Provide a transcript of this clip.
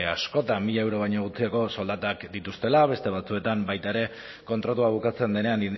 askotan mila euro baino gutxiagoko soldatak dituztela beste batzuetan baita ere kontratua bukatzen denean